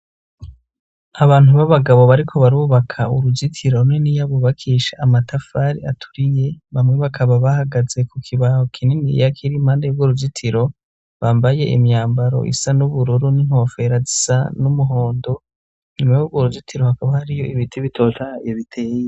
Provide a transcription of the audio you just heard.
Abantu b'abagabo bariko barubaka uruzitiro runiniya bubakisha amatafari aturiye bamwe bakaba bahagaze ku kibaho kininiya kiri impande yurwo rugitiro bambaye imyambaro isa n'ubururu n'inkofera zisa n'umuhondo nyuma yurwo urugitiro hakaba hariyo ibiti bitotahaye biteye.